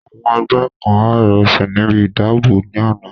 Àwọn ẹgbẹ́ kan há ìrẹsí níbi ìdìbò ní àná